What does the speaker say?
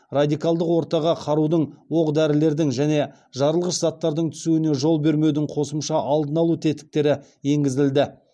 радикалдық ортаға қарудың оқ дәрілердің және жарылғыш заттардың түсуіне жол бермеудің қосымша алдын алу тетіктері енгізілді